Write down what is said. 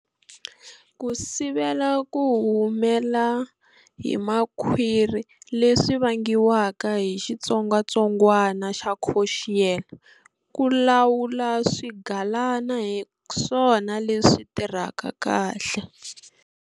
Ku sivela ku humela hi makhwiri leswi vangiwaka hi xitsongatsongwana xa Coxiella, ku lawula swigalana hi swona leswi tirhaka kahle.